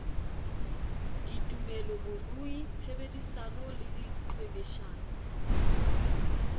ditumelo borui tshebedisano le diqhwebeshano